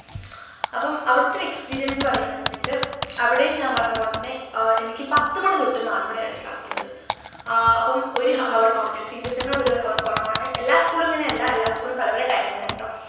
അപ്പം അവിടെത്തെ ഒരു experience പറയാന്നുണ്ടെങ്കില് അവിടെയും ഞാൻ പറഞ്ഞപോലെതന്നെ ആഹ് എനിക്ക് പത്തുമണി തൊട്ട് നാലുമണിവരെയാണ് class ള്ളത് ആഹ് അപ്പം ഒരു ഹ hour കൊറഞ്ഞു cbse ന്നു ഒരു hour കൊറവാണ് എല്ലാ school ഉം ഇങ്ങനെയല്ല എല്ലാ school ഉം പലപല timing ആണെട്ടോ